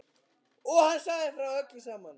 Og hann sagði frá öllu saman.